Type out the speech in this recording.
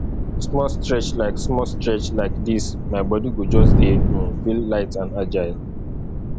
small stretch like small stretch like dis my body go just dey um feel light and agile